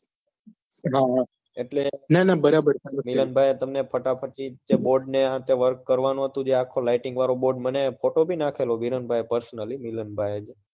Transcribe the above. હમ એટલે તમે જેમ કહો એમ એટલે મિલનભાઈએ તમને ફટાફટી જે બોર્ડનું આ તે જે work કરવાનું હતું જે lighting વાળો જે board નો photo ભી નાખેલો personally મિલનભાઈ એ